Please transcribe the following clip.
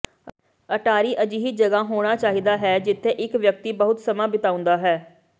ਅਟਾਰੀ ਅਜਿਹੀ ਜਗ੍ਹਾ ਹੋਣਾ ਚਾਹੀਦਾ ਹੈ ਜਿੱਥੇ ਇੱਕ ਵਿਅਕਤੀ ਬਹੁਤ ਸਮਾਂ ਬਿਤਾਉਂਦਾ ਹੈ